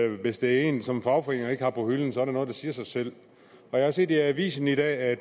hvis det er en som fagforeningerne ikke har på hylden er det noget der siger sig selv jeg har set i avisen i dag at